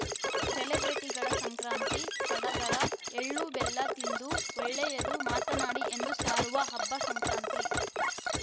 ಸೆಲೆಬ್ರಿಟಿಗಳ ಸಂಕ್ರಾಂತಿ ಸಡಗರ ಎಳ್ಳು ಬೆಲ್ಲ ತಿಂದು ಒಳ್ಳೆಯದ್ದು ಮಾತನಾಡಿ ಎಂದು ಸಾರುವ ಹಬ್ಬ ಸಂಕ್ರಾಂತಿ